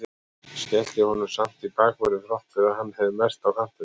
Skellti honum samt í bakvörðinn þrátt fyrir að hann hafi verið mest á kantinum.